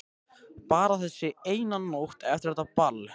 Bara þessi eina nótt eftir þetta ball.